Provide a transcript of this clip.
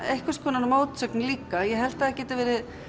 einhvers konar mótsögn líka ég held að það geti verið